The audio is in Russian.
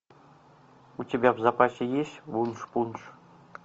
у тебя в запасе есть вуншпунш